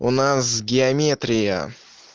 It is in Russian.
у нас геометрия